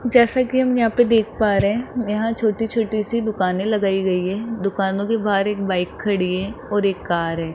जैसा कि हम यहां पे देख पा रहे है यहां छोटी छोटी सी दुकाने लगाई गई है दुकानों के बाहर एक बाइक खड़ी है और एक कार है।